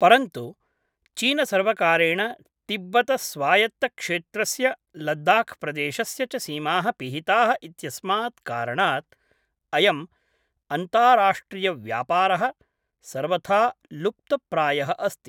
परन्तु चीनसर्वकारेण तिब्बतस्वायत्तक्षेत्रस्य लद्दाख् प्रदेशस्य च सीमाः पिहिताः इत्यस्मात् कारणात् अयम् अन्ताराष्ट्रियव्यापारः सर्वथा लुप्तप्रायःअस्ति।